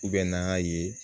n'a ye